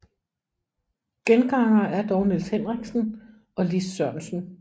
Gengangere er dog Nils Henriksen og Lis Sørensen